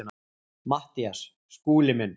MATTHÍAS: Skúli minn!